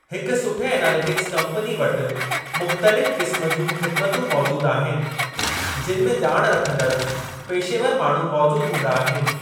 हिक सुठे analytics company वटि मुख़्तलिफ़ क़िस्मु जूं ख़िदमतूं मौजूदु आहिनि जिनि में ॼाण रखंदड़, पेशेवर माण्हू मौजूद हूंदा आहिनि।